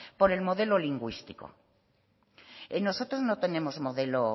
por el modelo lingüístico nosotros no tenemos modelo